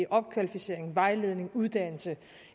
opkvalificering vejledning uddannelse